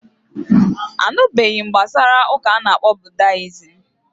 Anụbeghị m gbasara ụka a ana-akpọ budayism